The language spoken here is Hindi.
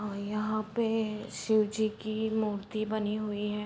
और यहाँ पे शिव जी की मूर्ति बनी हुई है।